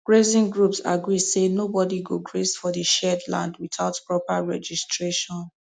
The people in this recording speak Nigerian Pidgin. grazing groups agree say nobody go graze for the shared land without proper registration